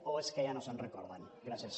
o és que ja no se’n recorden gràcies